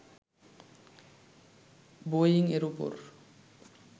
Boeing এর উপর